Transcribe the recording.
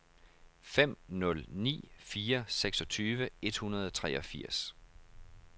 fem nul ni fire seksogtyve et hundrede og treogfirs